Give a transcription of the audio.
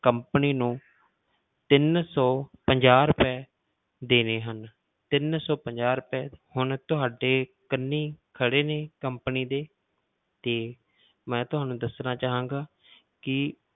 Company ਨੂੰ ਤਿੰਨ ਸੌ ਪੰਜਾਹ ਰੁਪਏ ਦੇਣੇ ਹਨ ਤਿੰਨ ਸੌ ਪੰਜਾਹ ਰੁਪਏ ਹੁਣ ਤੁਹਾਡੇ ਕੰਨੀ ਖੜੇ ਨੇ company ਦੇ ਤੇ ਮੈਂ ਤੁਹਾਨੂੰ ਦੱਸਣਾ ਚਾਹਾਂਗਾ ਕਿ